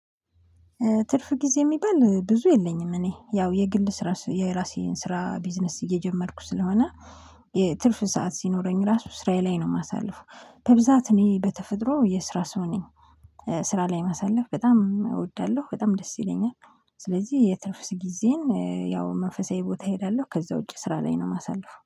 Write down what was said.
ትርፍ ጊዜ የሚባል ብዙ የለኝም እኔ ያው የግል ስራ የራሴን ስራ ቢዝነስ እየጀመርኩ ስለሆነ። የትርፍ ሰዓት ሲኖረኝ ራሱ ስራዬ ላይ ነው የማሳልፈው ከብዛት እኔ በተፈጥሮ የስራ ሰው ነኝ። ስራ ላይ ማሳለፍ በጣም እወዳለሁ በጣም ደስ ይለኛል። ስለዚህ የትርፍስ ጊዜን ያው መንፈሳዊ ቦታ እሄዳለሁ ከዛ ውጪ ስራ ላይ ነው የማሳልፈው